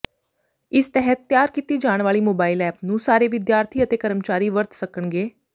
ਇਸ ਤਹਿਤ ਤਿਆਰ ਕੀਤੀ ਜਾਣ ਵਾਲੀ ਮੋਬਾਈਲ ਐਪ ਨੂੰ ਸਾਰੇ ਵਿਦਿਆਰਥੀ ਅਤੇ ਕਰਮਚਾਰੀ ਵਰਤ ਸਕਣਗੇ